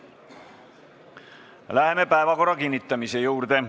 Läheme päevakorra kinnitamise juurde.